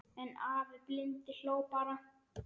En afi blindi hló bara.